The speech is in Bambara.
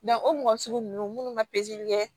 o mɔgɔ sugu ninnu ma pezeli kɛ